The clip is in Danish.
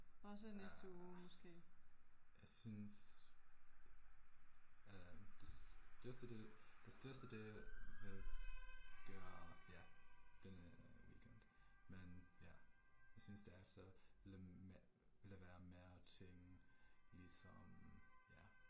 Ja. Jeg synes øh det største det det største det vil gøre jeg denne weekend, men ja, jeg synes derefter lade være med at ting ligesom